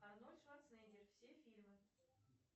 арнольд шварценеггер все фильмы